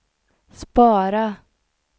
spara